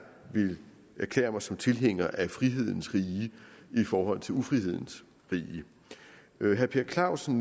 vil erklære mig som tilhænger af frihedens rige i forhold til ufrihedens rige herre per clausen